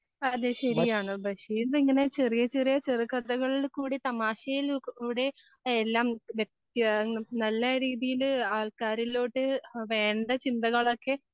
അത് ശരിയാണ് ബഷീറിന് ഇങ്ങനെ ചെറിയ ചെറിയ ചെറുകഥകളിൽ കൂടി തമാശയിൽ ലൂടെ എല്ലാം വ്യത്യ നല്ല രീതിയില് ആൾക്കാരിലോട്ട് വേണ്ട ചിന്തകളൊക്കെ